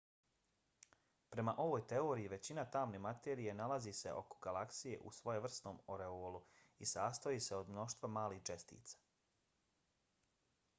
prema ovoj teoriji većina tamne materije nalazi se oko galaksije u svojevrsnom oreolu i sastoji se od mnoštva malih čestica